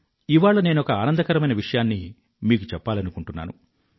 ఇవాళ నేనొక ఆనందకరమైన విషయాన్ని మీకు చెప్పాలనుకుంటున్నాను